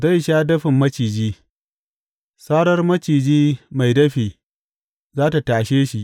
Zai sha dafin maciji; sarar maciji mai dafi za tă tashe shi.